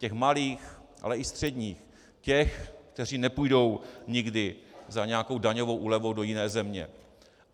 Těch malých, ale i středních, těch, kteří nepůjdou nikdy za nějakou daňovou úlevou do jiné země.